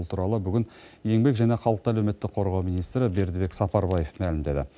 бұл туралы бүгін еңбек және халықты әлеуметтік қорғау министрі бердібек сапарбаев мәлімдеді